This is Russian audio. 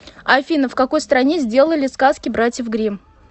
афина в какой стране сделали сказки братьев гримм